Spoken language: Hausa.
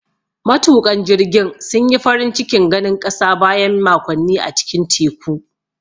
Matuƙan jirgin sun yi farin cikin ganin ƙasa bayan makonni a cikin teku.